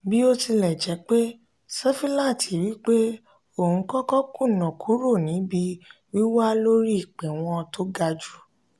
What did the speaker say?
bó tilẹ̀ jẹ́ pé sefilaati wí pé òun kò kò kùnà kúrò níbi wiwà lórí ipewọn tó ga jù.